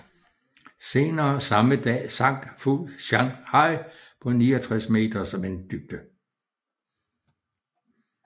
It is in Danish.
Senere samme dag sank Fu Shan Hai på 69 meters vanddybde